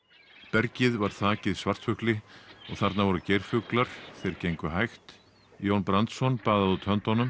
bergið var þakið svartfugli og þarna voru geirfuglar þeir gengu hægt Jón Brandsson baðaði út höndunum